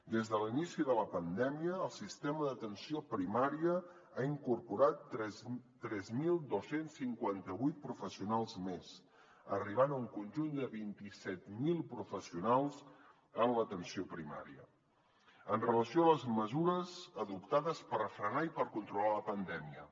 des de l’inici de la pandèmia el sistema d’atenció primària ha incorporat tres mil dos cents i cinquanta vuit professionals més arribant a un conjunt de vint set mil professionals en l’atenció primària amb relació a les mesures adoptades per frenar i per controlar la pandèmia